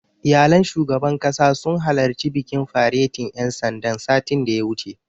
Iyalan shugaban ƙasa sun halarci bikin faretin ƴan sandan, satin da ya wuce.